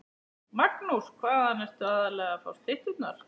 Magnús: Hvaðan ertu aðallega að fá stytturnar?